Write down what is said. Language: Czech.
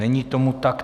Není tomu tak.